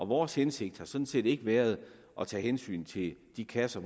vores hensigt har sådan set ikke været at tage hensyn til de kasser